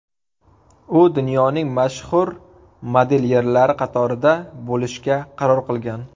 U dunyoning mashhur modelyerlari qatorida bo‘lishga qaror qilgan.